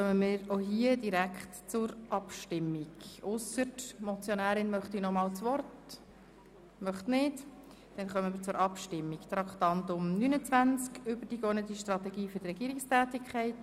Wir kommen zur Abstimmung über die «Übergeordnete Strategie für die Regierungstätigkeit – Strategische Eckwerte für die Direktionen».